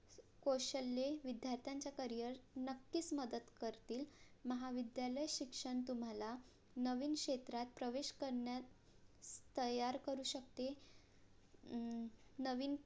कौशल्ये विद्यार्थ्यांचं CAREER नक्कीच मदत करतील महाविद्यालय शिक्षण तुम्हाला नवीन क्षेत्रात प्रवेश करण्यास तयार करु शकते अं नवीन